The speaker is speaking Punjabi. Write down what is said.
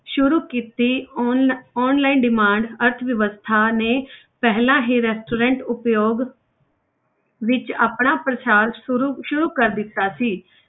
ਸ਼ੁਰੂ ਕੀਤੀ ਆਨਲਾ~ online demand ਅਰਥਵਿਵਸਥਾ ਨੇ ਪਹਿਲਾਂ ਹੀ restaurant ਉਪਯੋਗ ਵਿੱਚ ਆਪਣਾ ਪ੍ਰਸਾਰ ਸ਼ੁਰੂ ਸ਼ੁਰੂ ਕਰ ਦਿੱਤਾ ਸੀ।